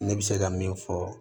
Ne bɛ se ka min fɔ